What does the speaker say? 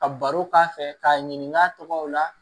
Ka baro k'a fɛ k'a ɲininka a tɔgɔw la